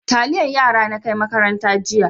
Taliyan yara na kai makaranta jiya.